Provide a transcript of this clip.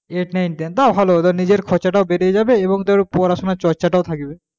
eight nine ten বা ভালো ধর নিজের খরচাটাও বেরিয়ে যাবে এবং তোর পড়াশোনার চর্চা টাও থাকবে,